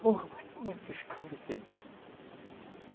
Porra, mas está muito escuro o que eu disse.